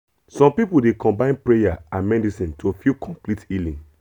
some people dey combine prayer and medicine to feel complete healing